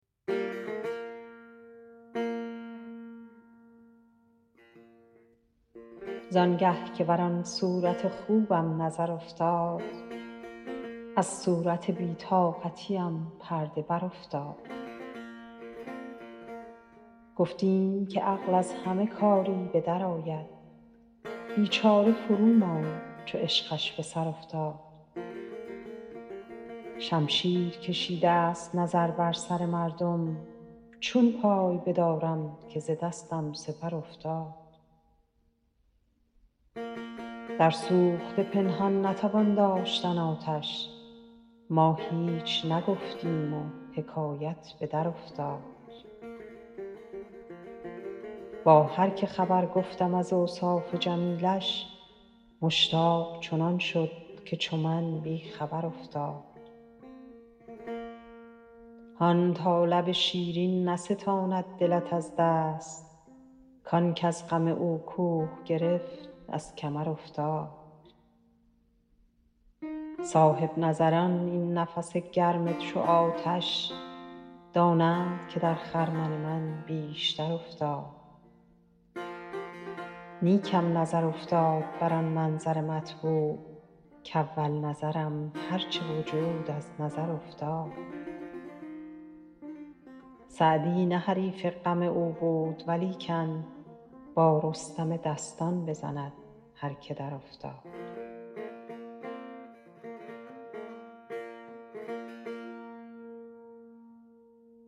زان گه که بر آن صورت خوبم نظر افتاد از صورت بی طاقتیم پرده برافتاد گفتیم که عقل از همه کاری به درآید بیچاره فروماند چو عشقش به سر افتاد شمشیر کشیدست نظر بر سر مردم چون پای بدارم که ز دستم سپر افتاد در سوخته پنهان نتوان داشتن آتش ما هیچ نگفتیم و حکایت به درافتاد با هر که خبر گفتم از اوصاف جمیلش مشتاق چنان شد که چو من بی خبر افتاد هان تا لب شیرین نستاند دلت از دست کان کز غم او کوه گرفت از کمر افتاد صاحب نظران این نفس گرم چو آتش دانند که در خرمن من بیشتر افتاد نیکم نظر افتاد بر آن منظر مطبوع کاول نظرم هر چه وجود از نظر افتاد سعدی نه حریف غم او بود ولیکن با رستم دستان بزند هر که درافتاد